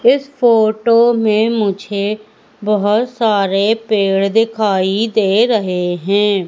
इस फोटो में मुझे बहुत सारे पेड़ दिखाई दे रहे हैं।